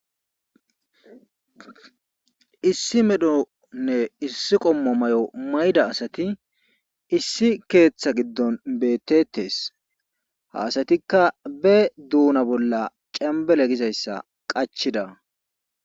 Issi medhonne issi qommo mayo mayida asati issi keeththa gidon beetetees. ha asatikka be duuna bolla cembelle gizayssa qachchida.